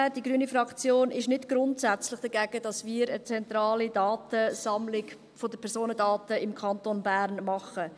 Die grüne Fraktion ist nicht grundsätzlich dagegen, dass wir eine zentrale Datensammlung der Personendaten im Kanton Bern machen.